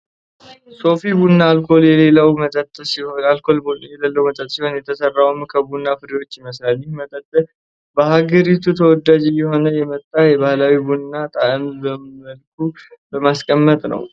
ሶፊ ቡና አልኮል የሌለው መጠጥ ሲሆን፣ የተሰራውም ከቡና ፍሬዎች ይመስላል። ይህ መጠጥ በሀገሪቱ ተወዳጅ እየሆነ የመጣው የባህላዊ ቡናን ጣዕም በምን መልኩ በማስቀጠል ነው?